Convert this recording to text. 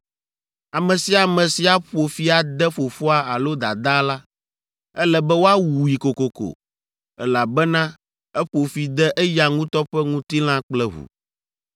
“ ‘Ame sia ame si aƒo fi ade fofoa alo dadaa la, ele be woawui kokoko, elabena eƒo fi de eya ŋutɔ ƒe ŋutilã kple ʋu.